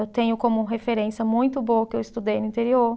Eu tenho como referência muito boa o que eu estudei no interior.